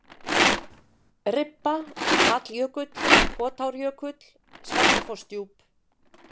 Ribba, Falljökull, Kotárjökull, Svartafossdjúp